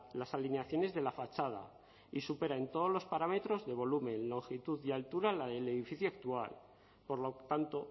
las alineaciones de la fachada y supera en todos los parámetros de volumen longitud y altura la del edificio actual por lo tanto